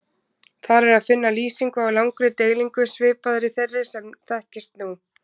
Þar er að finna lýsingu á langri deilingu svipaðri þeirri sem þekkist nú.